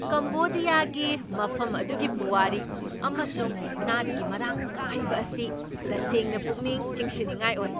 ꯀꯝꯕꯣꯗꯤꯌꯥꯒꯤ ꯃꯐꯝ ꯑꯗꯨꯒꯤ ꯄꯨꯋꯥꯔꯤ ꯑꯃꯁꯨꯡ ꯅꯥꯠꯀꯤ ꯃꯔꯥꯡ ꯀꯥꯏꯕ ꯑꯁꯤ ꯇꯁꯦꯡꯅ ꯄꯨꯛꯅꯤꯡ ꯆꯤꯡꯁꯤꯟꯅꯤꯡꯉꯥꯏ ꯑꯣꯏ꯫